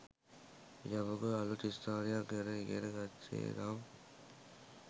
යමෙකු අලුත් ස්ථානයක් ගැන ඉගෙන ගත්තේ නම්